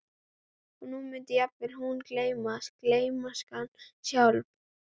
Og nú mundi jafnvel hún gleymast, gleymskan sjálf.